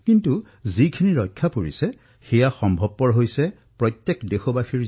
কিন্তু যিখিনি আমি ৰক্ষা কৰিব পাৰিছো সেয়া নিশ্চিত ৰূপতেই দেশৰ সামূহিক সংকল্প শক্তি হিচাপে বিবেচিত হৈছে